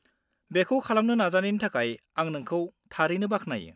बेखौ खालामनो नाजानायनि थाखाय आं नोंखौ थारैनो बाख्नायो।